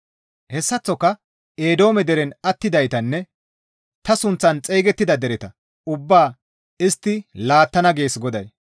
Hessaththoka Eedoome deren attidaytanne ta sunththan xeygettida dereta ubbaa istti laattana» gees GODAY.